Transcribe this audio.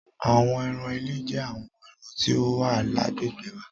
Àwọn ẹran ilé jẹ́ àwọn ẹran tí ó wà lágbègbè wa.